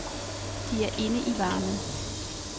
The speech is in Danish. De er inde i varmen.